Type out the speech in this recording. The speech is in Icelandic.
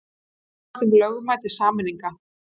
Efast um lögmæti sameininga